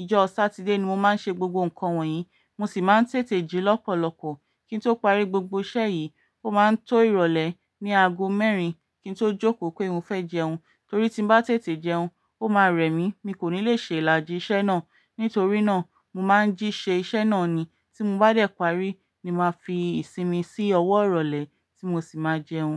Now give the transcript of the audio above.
Ìjọ Satide ni mo máa ń ṣe gbogbo nǹkan wọ̀nyí, mo sì máa ń tètè jí lọ́pọ̀lọpọ̀ kí n tó parí gbogbo iṣẹ́ yìí. Ó máa ń tó ìrọ̀lẹ́ ní aago mẹ́rin kí n tó jókòó pé mo fẹ́ jẹun, torí tí mo bá tètè jẹun, ó máa rẹ̀ mí, mi kò ní lè ṣe ìlàjì iṣẹ́ náà. Nítorí náà, mo máa ń jí ṣe iṣẹ́ náà ni tí mo bá dẹ̀ parí ni màá fi ìsinmi sí ọwọ́ ìrọ̀lẹ́ tí mo sì máa jẹun.